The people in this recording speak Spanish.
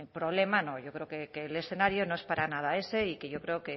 problema no yo creo que el escenario no es para nada ese y que yo creo